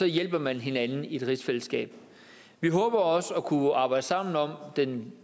hjælper hinanden i et rigsfællesskab vi håber også at kunne arbejde sammen om den